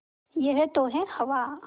यह तो है हवा